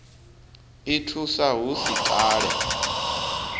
i thusa hu si kale